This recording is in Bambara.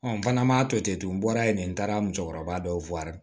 n fana ma to ten n bɔra yen ten n taara musokɔrɔba dɔw